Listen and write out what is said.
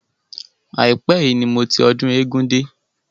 Àípẹ́ yìí ni mo ti ọdún eégún dé.